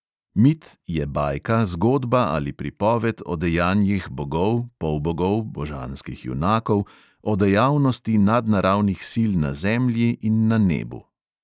Mit je bajka, zgodba ali pripoved o dejanjih bogov, polbogov, božanskih junakov, o dejavnosti nadnaravnih sil na zemlji in na nebu.